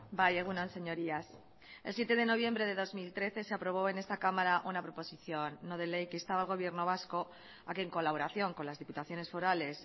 bai egun on señorías el siete de noviembre de dos mil trece se aprobó en esta cámara una proposición no de ley que instaba al gobierno vasco a que en colaboración con las diputaciones forales